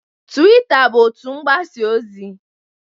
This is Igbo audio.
Tuwita bụ otu mgbasa ozi.